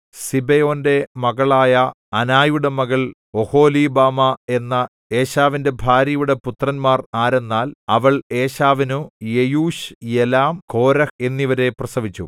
സിബെയോന്‍റെ മകളായ അനായുടെ മകൾ ഒഹൊലീബാമാ എന്ന ഏശാവിന്റെ ഭാര്യയുടെ പുത്രന്മാർ ആരെന്നാൽ അവൾ ഏശാവിനു യെയൂശ് യലാം കോരഹ് എന്നിവരെ പ്രസവിച്ചു